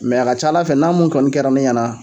a ka ca Ala fɛ n'a mun kɔni kɛra ne ɲɛna